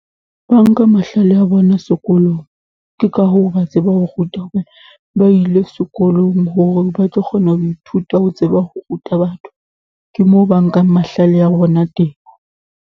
Ba nka mahlale a bona sekolong, ke ka hoo ba tsebang ho ruta, ba ile sekolong hore ba tlo kgona ho ithuta ho tseba ho ruta batho. Ke moo ba nkang mahlale a bona teng.